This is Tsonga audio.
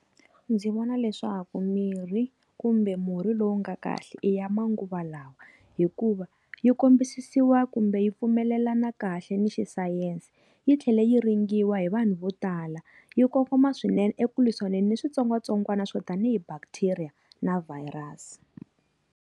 Ndzi vona leswaku mirhi kumbe murhi lowu nga kahle i ya manguva lawa hikuva yi kombisiwa kumbe yi pfumelelana kahle ni xisayense. Yi tlhele yi ringiwa hi vanhu vo tala, yi kongoma swinene eku lwisaneni ni switsongwatsongwana swo tanihi bacteria na virus.